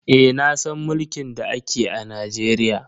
Eh nasan mulkin da ake a Najeriya.